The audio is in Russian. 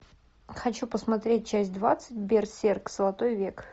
хочу посмотреть часть двадцать берсерк золотой век